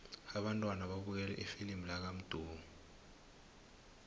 abantwana babukele ifilimu lakamdu